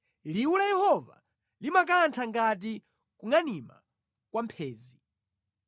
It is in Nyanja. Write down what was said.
Liwu la Yehova limakantha ngati kungʼanima kwa mphenzi.